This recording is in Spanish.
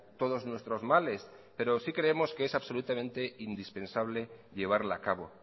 todos nuestros males pero sí creemos que es absolutamente indispensable llevarla a cabo